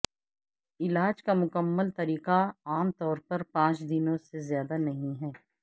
علاج کا مکمل طریقہ عام طور پر پانچ دنوں سے زیادہ نہیں ہے